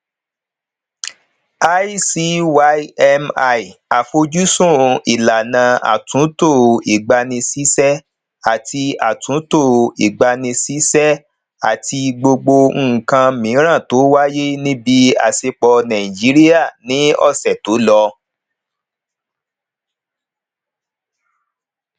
icymi àfojúsùn ìlànà atunto igbanisise àti atunto igbanisise àti gbogbo nkan miran to wáyé níbi isẹpo nàìjíríà ní ọsẹ tó lọ